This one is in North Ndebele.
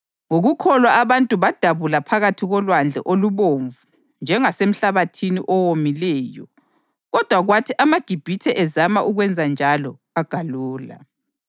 Ngokukholwa abantu badabula phakathi koLwandle oluBomvu njengasemhlabathini owomileyo, kodwa kwathi amaGibhithe ezama ukwenzanjalo agalula.